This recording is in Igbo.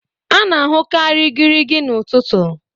a na-ahụkarị igirigi n'ụtụtụ